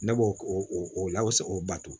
Ne b'o o lase o bato